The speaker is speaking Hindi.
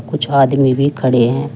कुछ आदमी भी खड़े हैं।